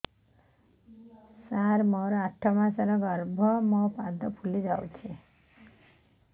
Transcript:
ସାର ମୋର ଆଠ ମାସ ଗର୍ଭ ମୋ ପାଦ ଫୁଲିଯାଉଛି